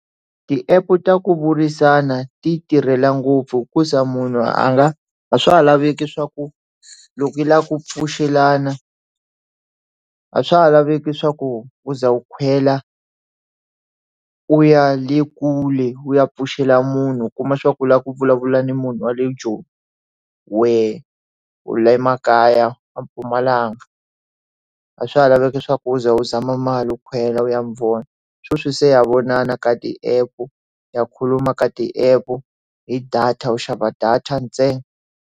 Ti app ta ku burisana ti tirhela ngopfu hikuza munhu a nga a swa ha laveki swa ku loko yi lava ku pfuxelana a swa ha laveki swa ku u za wu khwela u ya le kule u ya pfuxela munhu u kuma swa ku u lava ku vulavula na munhu wa le Joni wehe u le makaya a Mpumalanga a swa ha laveka leswaku u za u zama mali u khwela u ya mi vona sweswi se ya vonana ka ti app ya khuluma ka ti app hi data u xava data ntsena.